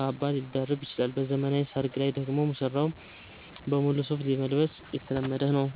ካባ ሊደርብ ይችላል። በዘመናዊ ሰርግ ላይ ደግሞ ሙሽራው ሙሉ ሱፍ መልበስ የተለመደ ነው።